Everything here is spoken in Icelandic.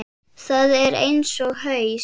Það er eins og haus